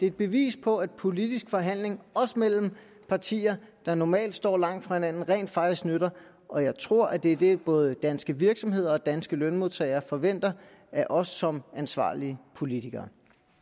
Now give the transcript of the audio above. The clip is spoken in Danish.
et bevis på at politiske forhandlinger også mellem partier der normalt står langt fra hinanden rent faktisk nytter og jeg tror at det er det både danske virksomheder og danske lønmodtagere forventer af os som ansvarlige politikere